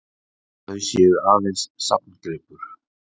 Þau séu aðeins safngripur